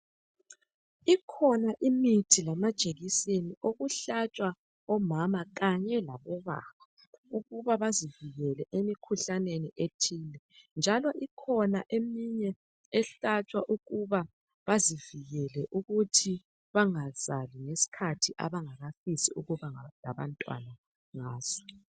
Ikhona imithi lamajekiseni okuhlatshwa omama Kanye labobaba ukuba bazivikele emkhuhlaneni ethile njalo ikhona eminye ehlatshwa ukuba bazivikele ukuthi bengazali ngesikhathi abangakafisi ukuba labantwana ngaso